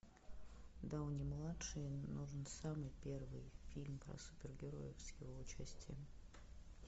дауни младший нужен самый первый фильм про супергероев с его участием